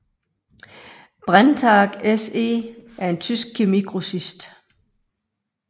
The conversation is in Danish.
Brenntag SE er en tysk kemigrossist